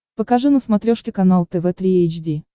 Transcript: покажи на смотрешке канал тв три эйч ди